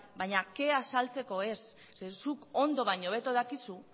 baina kea saltzeko ez zeren zuk ondo baino hobeto dakizu